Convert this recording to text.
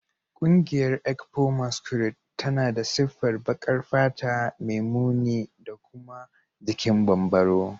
Ƙungiyar ekpo masquerade tana da siffar baƙar fata mai muni da kuma jikin bambaro